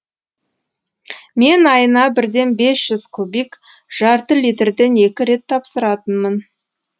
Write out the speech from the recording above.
мен айына бірден бес жүз кубик жарты литрден екі рет тапсыратынмын